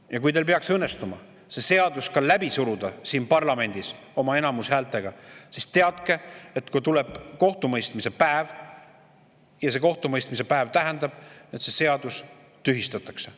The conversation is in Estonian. Ja kui teil peaks õnnestuma see seadus siin parlamendis oma enamushäältega läbi suruda, siis teadke, et kui tuleb kohtumõistmise päev, siis sel kohtumõistmise päeval see seadus tühistatakse.